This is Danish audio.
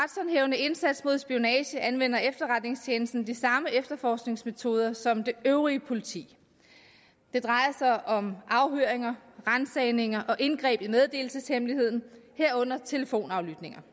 indsats mod spionage anvender efterretningstjenesten de samme efterforskningsmetoder som det øvrige politi det drejer sig om afhøringer ransagninger og indgreb i meddelelseshemmeligheden herunder telefonaflytninger